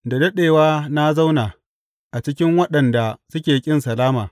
Da daɗewa na zauna a cikin waɗanda suke ƙin salama.